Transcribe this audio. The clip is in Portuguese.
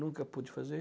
Nunca pude fazer.